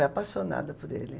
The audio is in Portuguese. apaixonada por ele.